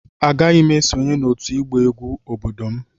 Agaghị m esonyere otu egba egwu obodo m.